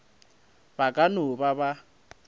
ba ka no ba ba